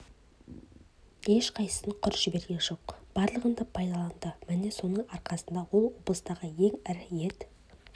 ешқайсысын құр жіберген жоқ барлығын да пайдаланды міне соның арқасында ол облыстағы ең ірі ет